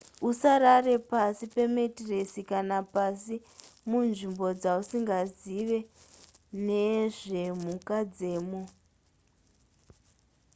usarara pasi pametiresi kana pasi munzvimbo dzausingazive nezvemhuka dzemo